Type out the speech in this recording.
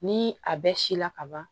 Ni a bɛɛ si la ka ban